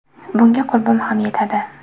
Bunga qurbim ham yetadi.